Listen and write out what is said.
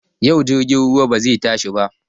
Yau jirgin ruwa bazai tashai ba